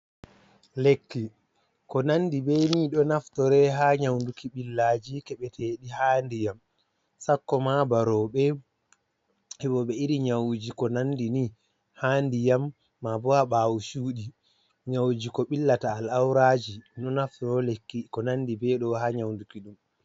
Lekki ko nandi be ni ɗo naftore ha nyauduki ɓillaji keɓeteɗi ha ndiyam. Sakko ma ba rowɓe heɓoɓe iri nyawuji ko nandi ni, ha ndiyam ma bo ha ɓaawo cuuɗi. Nyawuji ko ɓillata al-auraji, ɗum ɗo naftoro lekki ko nandi be ɗo ha nyaunduki ɗum.